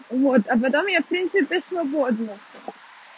вот а потом я в принципе свободна